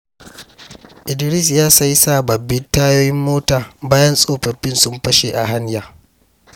Idris ya sayi sababbin tayoyin mota bayan tsofaffin sun fashe a hanya.